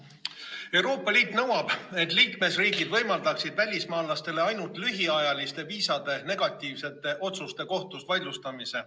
Euroopa Liit nõuab, et liikmesriigid võimaldaksid välismaalastele ainult lühiajaliste viisade negatiivsete otsuste kohtus vaidlustamise.